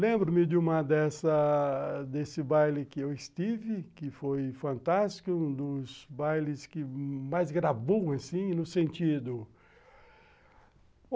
Lembro-me de uma dessa, desse baile que eu estive, que foi fantástico, um dos bailes que mais gravou, assim, no sentido.